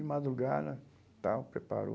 De madrugada, tal, preparou...